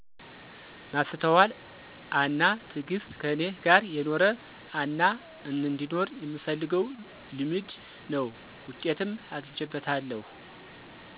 ማስተዋል አና ትግስት ከኔ ጋር የኖረ አናአንዲኖር የምፈልገው ልምድ ነው። ውጤትም አግቸበታለሁ።